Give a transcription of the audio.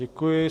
Děkuji.